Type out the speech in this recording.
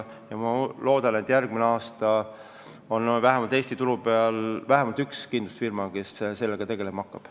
Loodan, et järgmine aasta on Eesti turul vähemalt üks kindlustusfirma, kes sellega tegelema hakkab.